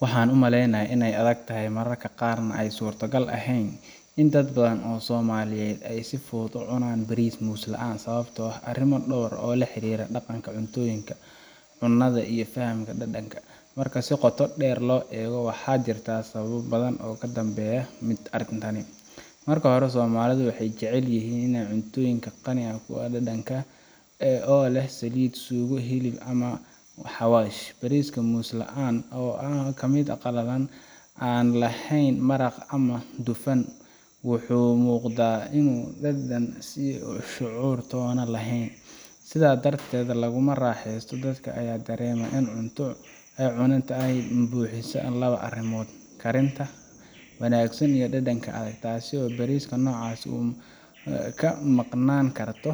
Waxaan umaleynaya inaay adag tahay mararka qaar aay suurta gal eheen in dad badan oo somaliyeed aay si fudud ucunaan bariis moos laan sababta oo ah arin door oo la xariira daqanka cuntooyinka cunada iyo fahamka dadanka, marka si qooto deer loo eego waxaa jirta sababo badan oo kadambeya arintani, marka hore somalida waxeey jecel yihiin in cuntooyinka qaniga kuwa dadanka oo leh saliid, suug, hilib ama xawash, bariiska moos laan oo leh mid qalalan aan leheen maraq ama dufan wuxuu muuqda inuu dadan shucuur toona leheen, sidaa darteed laguma raaxesato, karinta wanagsan iyo dadan ,taasi oo bariiska noocan ah kamaqnaan karto,